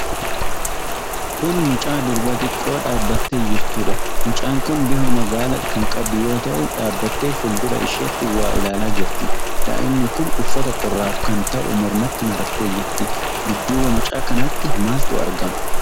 Kun mucaa durbaa xiqqoo dhaabattee jirtuudha. Mucaan kun bifa magaala kan qabdu yoo ta'u, dhaabattee fuuldura isheetti waa ilaalaa jirti. Daa'imni kun uffata qorraaf kan ta'u mormatti marattee jirti. Dudduuba mucaa kanaatti maaltu argama?